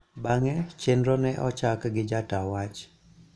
Bang�e, chenro ne ochako gi jata wach